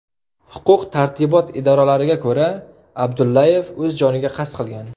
Huquq-tartibot idoralariga ko‘ra, Abdullayev o‘z joniga qasd qilgan.